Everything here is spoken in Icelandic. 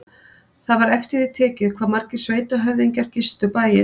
Það var eftir því tekið hvað margir sveitarhöfðingjar gistu bæinn.